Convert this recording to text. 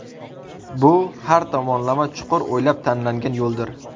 Bu – har tomonlama chuqur o‘ylab tanlangan yo‘ldir.